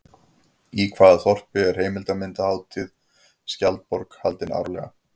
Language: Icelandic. Í hvaða þorpi er heimildarmyndarhátíðin Skjaldborg haldin árlega?